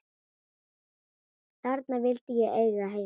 Þarna vildi ég eiga heima.